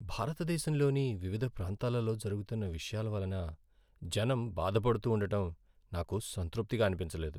భారతదేశంలోని వివిధ ప్రాంతాలలో జరుగుతున్న విషయాల వలన జనం బాధపడుతూండటం నాకు సంతృప్తిగా అనిపించలేదు.